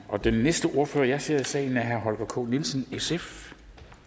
og den næste ordfører jeg ser i salen er herre holger k nielsen sf